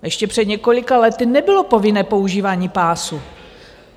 Ještě před několika lety nebylo povinné používání pásu.